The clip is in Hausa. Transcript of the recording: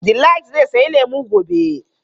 Delight zai sayi lemu gobe.